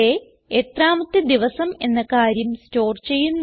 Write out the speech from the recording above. day എത്രാമത്തെ ദിവസം എന്ന കാര്യം സ്റ്റോർ ചെയ്യുന്നു